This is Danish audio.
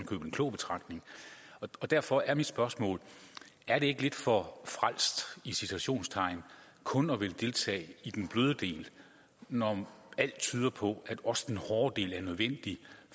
købet en klog betragtning og derfor er mit spørgsmål er det ikke lidt for frelst i citationstegn kun at ville deltage i den bløde del når alt tyder på at også den hårde del er nødvendig